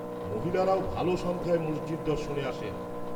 -মহিলারাও ভালো সংখ্যায় মসজিদ দর্শনে আসেন।